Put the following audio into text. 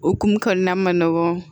Okumu kɔnɔna man nɔgɔn